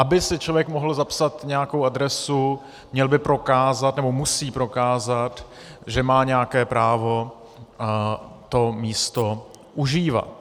Aby si člověk mohl zapsat nějakou adresu, měl by prokázat nebo musí prokázat, že má nějaké právo to místo užívat.